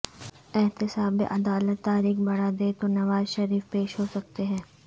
احتساب عدالت تاریخ بڑھا دے تو نواز شریف پیش ہو سکتے ہیں